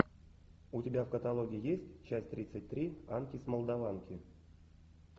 у тебя в каталоге есть часть тридцать три анки с молдаванки